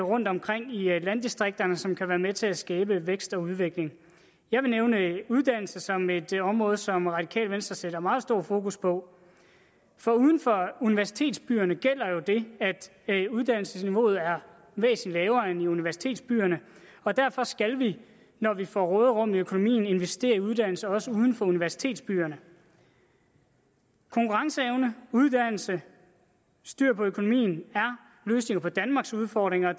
rundtomkring i landdistrikterne som kan være med til at skabe vækst og udvikling jeg vil nævne uddannelse som et område som radikale venstre sætter meget stort fokus på for uden for universitetsbyerne gælder jo det at uddannelsesniveauet er væsentlig lavere end i universitetsbyerne og derfor skal vi når vi får råderum i økonomien investere i uddannelse også uden for universitetsbyerne konkurrenceevne uddannelse styr på økonomien er løsninger på danmarks udfordringer